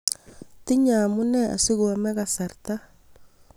tinyei omunee asikoame kasarta